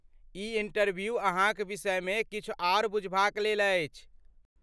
ई interview अहाँक विषयमे किछु आर बुझबाक लेल अछि।